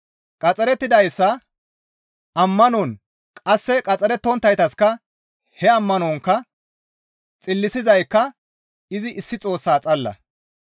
Qaxxarettidayssa ammanon qasse qaxxarettonttayssaka he ammanonkka xillisizaykka izi issi Xoossaa xalla.